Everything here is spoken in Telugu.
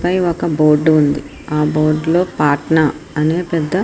పైన ఒక బోర్డు ఉంది ఆ బోర్డు లో పాట్నా అని పెద్ధ --